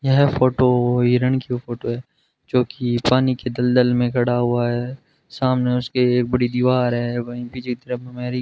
यह फोटो हिरण की फोटो है जो की पानी के दलदल में खड़ा हुआ है सामने उसके एक बड़ी दीवार है वहीं पीछे की तरफ हमारी --